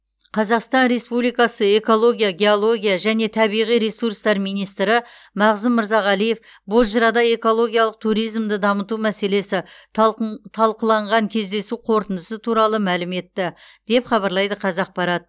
қазақстан республикасы экология геология және табиғи ресурстар министрі мағзұм мырзағалиев бозжырада экологиялық туризмді дамыту мәселесі талқың талқыланған кездесу қорытындысы туралы мәлім етті деп хабарлайды қазақпарат